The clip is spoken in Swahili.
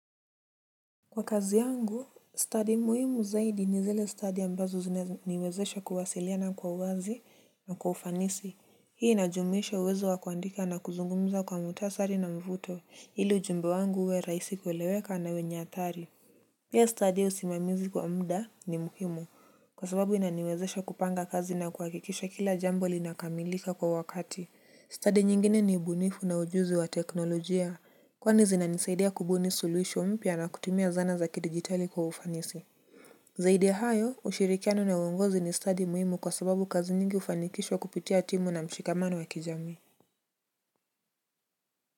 Kwa kazi yangu, stadi muhimu zaidi ni zile stadi ambazo zinaniwezesha kuwasilia na kwa wazi na kwa ufanisi. Hii inajumuisha uwezo wa kuandika na kuzungumza kwa mutasari na mvuto ili ujumbe wangu uwe raisi kuileweka na wenye atari. Pia stadi usimamizi kwa muda ni muhimu kwa sababu inaniwezesha kupanga kazi na kuhakikisha kila jambo linakamilika kwa wakati. Study nyingine ni ubunifu na ujuzi wa teknolojia kwani zinanisaidia kubuni solution mpya na kutumia zana za kidijitali kwa ufanisi. Zaidi ya hayo, ushirikiano na uongozi ni study muhimu kwa sababu kazi nyingi ufanikishwa kupitia timu na mshikamano wa kijami.